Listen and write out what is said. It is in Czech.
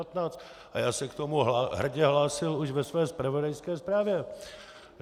A já se k tomu hrdě hlásil už ve své zpravodajské zprávě.